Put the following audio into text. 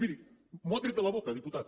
miri m’ho ha tret de la boca diputat